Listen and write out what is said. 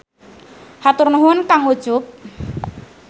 Hatur nuhun kang Ucup.